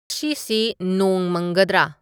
ꯁꯤ ꯅꯣꯡ ꯃꯪꯒꯗꯔꯥ